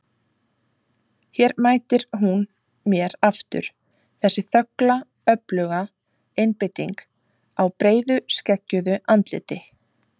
Hér mætir hún mér aftur, þessi þögla öfluga einbeiting á breiðu skeggjuðu andliti.